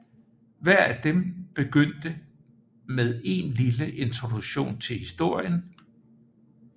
Hver af dem begyndte med en lille introduktion til historien